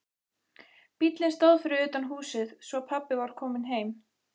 Bíllinn stóð fyrir utan húsið, svo pabbi var kominn heim.